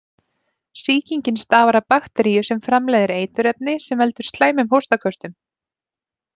Sýkingin stafar af bakteríu sem framleiðir eiturefni sem veldur slæmum hóstaköstum.